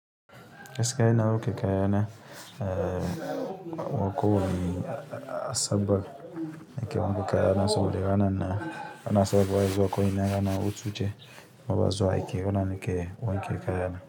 Gaskiya ina wanke kayana, a kowanne asabar nake wanke kayana saboda ranar nan, bana son zuwa izuwa ko ina rana hutuce bama zawa aiki. Ranar nake wanke kaya na.